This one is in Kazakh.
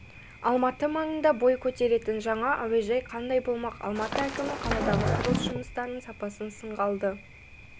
алматы маңында бой көтеретін жаңа әуежай қандай болмақ алматы әкімі қаладағы құрылыс жұмыстарының сапасын сынға алды